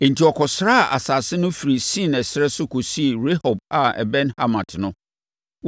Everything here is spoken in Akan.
Enti wɔkɔsraa asase no firi Sin ɛserɛ so kɔsii Rehob a ɛbɛn Hamat no.